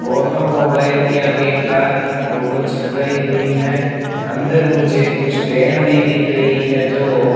automobile के आगे car की फोटो चिपकाई हुई है अंदर मुझे कुछ डेन भी दिख रही है जो --